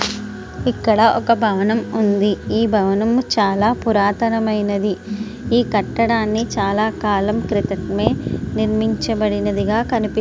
ఇక్కడ ఒక భవనం ఉంది. ఆ భవనంలో చాలా పురాతనమైనది. ఈ కట్టడాన్ని చాలా కాలం క్రితం నిర్మించబడినదిగా కనిపిస్తుంది.